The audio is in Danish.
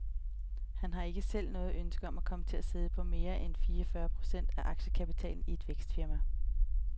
Han har ikke selv noget ønske om at komme til at sidde på mere end tyve til fyrre procent af aktiekapitalen i et vækstfirma.